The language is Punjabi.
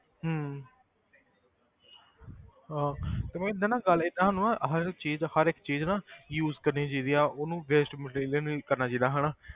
ਹਮ ਹਾਂ ਤੇ ਗੱਲ ਜਿੱਦਾਂ ਸਾਨੂੰ ਨਾ ਹਰੇਕ ਚੀਜ਼ ਦਾ ਹਰ ਇੱਕ ਚੀਜ਼ ਨਾ use ਕਰਨੀ ਚਾਹੀਦੀ ਆ ਉਹਨੂੰ waste material ਨੀ ਕਰਨਾ ਚਾਹੀਦਾ ਹਨਾ,